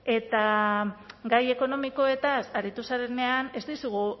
eta gai ekonomikoez aritu zarenean ez dizugu